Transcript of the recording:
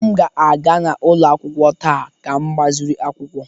M ga-aga n'ụlọ akwụkwọ taa ka m gbaziri akwụkwọ